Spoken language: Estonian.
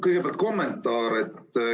Kõigepealt kommentaar.